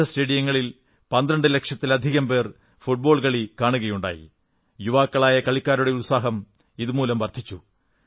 രാജ്യത്തെ വിവിധ സ്റ്റേഡിയങ്ങളിൽ 12 ലക്ഷത്തിലധികം പേർ ഫുട്ബോൾ കളി കണ്ടത് യുവാക്കളായ കളിക്കാരുടെ ഉത്സാഹം വർധിപ്പിച്ചു